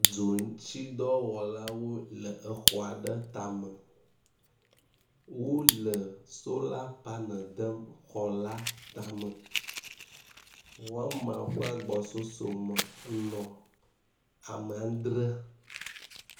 Dzɔ ŋuti dɔwɔla aɖewo le exɔ aɖe tame wole sola panel dem xɔ la tame, wome ƒe gbɔsɔsɔ me nɔ ame adre